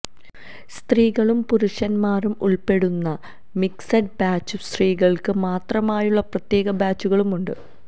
സ്ത്രീകളും പുരുഷന്മാരും ഉൾപ്പെടുന്ന മിക്സഡ് ബാച്ചും സ്ത്രീകൾക്ക് മാത്രമായുള്ള പ്രത്യേക ബാച്ചുകളുമുണ്ട്